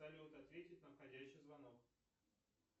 салют ответить на входящий звонок